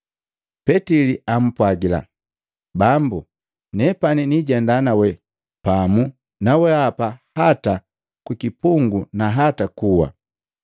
Petili ampwagila, “Bambu, nepani niijenda nawe pamu na weapa hata ku kipungu na hata kuwa.”